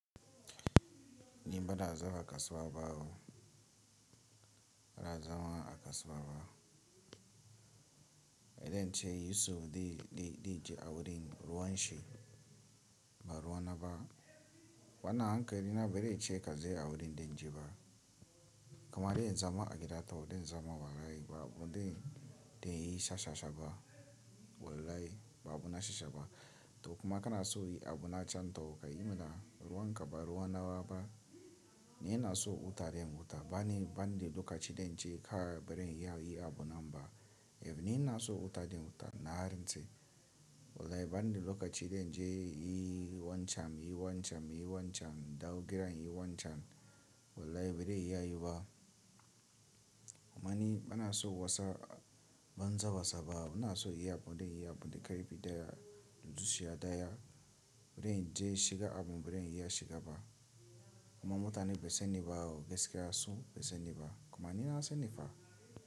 Ni bana zama a kasuwa bawo, bana zama a kasuwa ba, idan ce Yusuf di, di, diji a wurin ruwan shi ba ruwa na ba, wannan hankali na bazai ce ka saya a wurin dinjiba. Kuma idan zama a gida tau idan zama ba rai ba abu dinnan yi shashashaba, wallahi ba abu na shashaba. To kuma kana so yi abu na can tau kai ina ruwan ka ba ruwa na ba ba, in yana so wuta rem wuta bani, banɗi lokaci dinnan ce kara bari ya yi abu nan ba. Dib ni yana so wuta rem wuta na harin ce. Wallahi banɗi lokaci dinnan je yi wancan, yi wancan, yi wancan, dawo gidan in yi wancan. Wallahi bazai iya yi ba. Kuma ni bana so wasa, ban sa wasa ba. Bana in yi abu dinnan yi abu dinnan kai bi daya, dutsiya daya, bari in je shiga abu bari in ya shiga ba. Kuma mutane bai sani ba au gaskiya su bai sani ba. Kuma ni na sani fa.